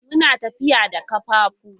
Muna tafiya da kafafu.